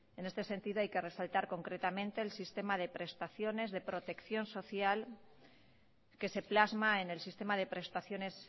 en este sentido hay que resaltar concretamente el sistema de prestaciones de protección social que se plasma en el sistema de prestaciones